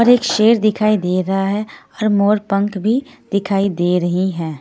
और एक शेर दिखाई दे रा है और मोर पंख भी दिखाई दे रही है।